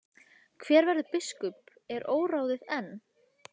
Hver verður biskup er óráðið enn.